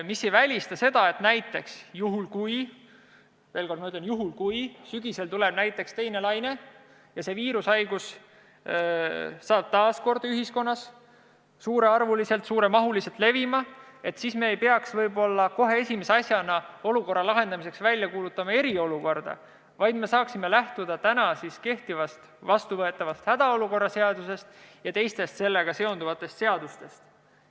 See aga ei välista, et näiteks juhul, kui sügisel tuleb teine laine ja viirus hakkab taas ühiskonnas laialdaselt levima, siis ei peaks me võib-olla kohe esimese asjana kuulutama probleemi lahendamiseks välja eriolukorda, vaid saaksime lähtuda täna kehtivast, vastuvõetavast hädaolukorra seadusest ja teistest sellega seonduvatest seadustest.